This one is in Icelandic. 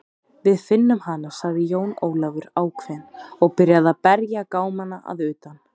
Við finnum hana, sagði Jón Ólafur ákveðinn og byrjaði að berja gámana að utan.